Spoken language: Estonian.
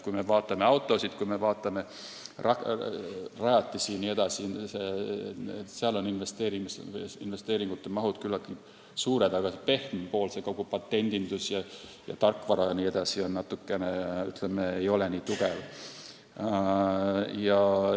Kui me vaatame autosid, kui me vaatame rajatisi jne, siis seal on investeeringute mahud küllaltki suured, aga pehmem pool, kogu patendindus, tarkvara jms, ei ole nii tugev.